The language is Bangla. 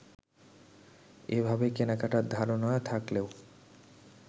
এভাবে কেনাকাটার ধারণা থাকলেও